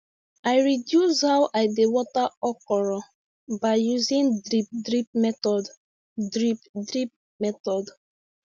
i reduce how i dey water okra by using drip drip method drip drip method